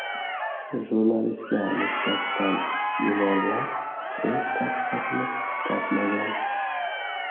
Jurnalistga nisbatan gumonlar o‘z tasdig‘ini topmagan.